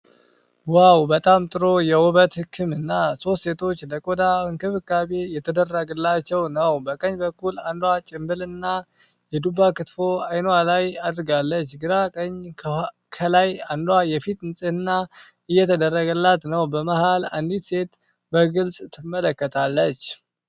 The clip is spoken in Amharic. ዋው፣ በጣም ጥሩ የውበት ሕክምና! ሦስት ሴቶች ለቆዳ እንክብካቤ እየተደረገላቸው ነው። በቀኝ በኩል አንዷ ጭንብልና የዱባ ክትፎ አይኗ ላይ አድርጋለች። ግራ ቀኝ ከላይ አንዷ የፊት ንጽህና እየተደረገላት ነው። በመሃል አንዲት ሴት በግልጽ ትመለከታለች።